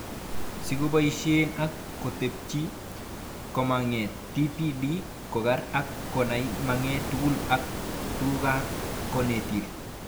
Sikoboishe ak kotebi, komagat TPD koker ak konai maget tugul ak tugukab konetil